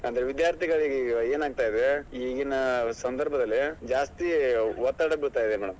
ಅಂದ್ರೆ ವಿದ್ಯಾರ್ಥಿಗಳಿಗೆ ಏನ್ ಆಗ್ತಾ ಇದೆ ಈಗಿನ ಸಂಧರ್ಭದಲ್ಲಿ ಜಾಸ್ತಿ ಒತ್ತಡ ಬಿಳ್ತಾಯಿದೆ madam .